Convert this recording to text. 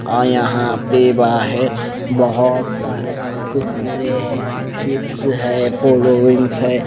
और यहाँ पे बाहिर बहुत सारे कुरकुरे हैं चिप्स हैं पोलोरिंग्स हैं।